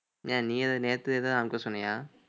ஏன் நீ ஏதாவது நேத்து ஏதாவது அனுப்ப சொன்னியா